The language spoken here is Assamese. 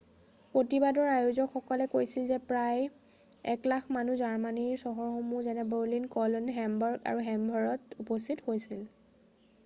প্ৰতিবাদৰ আয়োজকসকলে কৈছিল যে প্ৰায় 100,000 মানুহ জাৰ্মানীৰ চহৰসমূহ যেনে বাৰ্লিন কলন হেমবাৰ্গ আৰু হেনভাৰত উপস্থিত হৈছিল